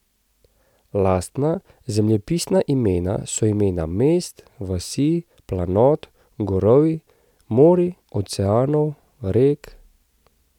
Lastna zemljepisna imena so imena mest, vasi, planot, gorovij, morij, oceanov, rek ...